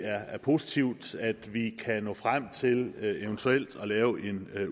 er positivt at vi kan nå frem til eventuelt at lave en